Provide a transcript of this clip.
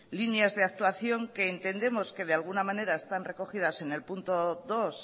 líneas de actuación que entendemos que de alguna manera están recogidas en el punto dos